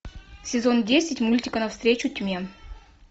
сезон десять мультика навстречу тьме